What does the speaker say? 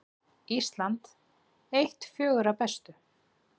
Ísland eitt fjögurra bestu